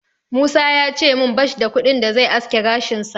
Musa ya ce min bash da kuɗin da zai aske gashinsa.